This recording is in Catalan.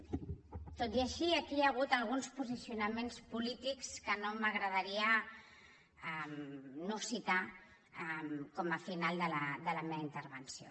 tot i així aquí hi ha hagut alguns posicionaments polítics que no m’agradaria no citar com a final de la meva intervenció